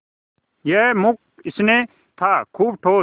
यह मूक स्नेह था खूब ठोस